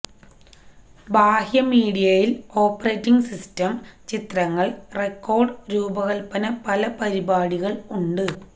ബാഹ്യ മീഡിയയിൽ operating system ചിത്രങ്ങൾ റെക്കോർഡ് രൂപകൽപ്പന പല പരിപാടികൾ ഉണ്ട്